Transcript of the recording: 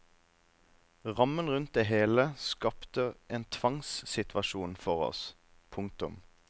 Rammen rundt det hele skapte en tvangssituasjon for oss. punktum